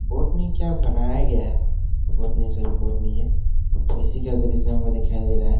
Botany क्या बनाया गया है बोटनी सॉरी बोटनी है इसी का दृश्य यहां पर दिखाई दे रहा है।